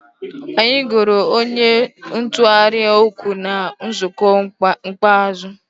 Anyị goro onye ntụgharị okwu na nzukọ ikpeazụ